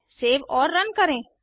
save और run करें